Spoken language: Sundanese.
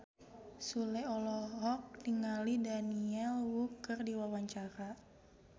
Sule olohok ningali Daniel Wu keur diwawancara